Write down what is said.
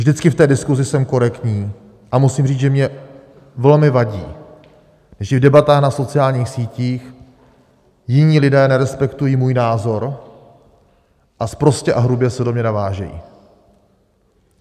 Vždycky v té diskusi jsem korektní a musím říct, že mi velmi vadí, že v debatách na sociálních sítích jiní lidé nerespektují můj názor a sprostě a hrubě se do mě navážejí.